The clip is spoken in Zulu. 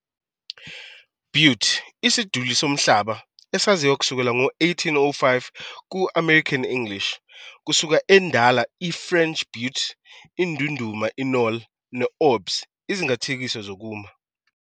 Butte, isiduli somhlaba, esaziwa kusukela ngo-1805 ku-American English, kusuka, eNdala, i-French butte "indunduma, i-knoll", ne-orbs - izingathekiso zokuma.